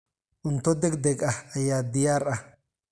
Cunto degdeg ah ayaa diyaar ah.